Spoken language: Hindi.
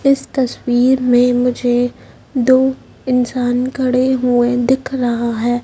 इस तस्वीर में मुझे दो इंसान खड़े हुए दिख रहा है।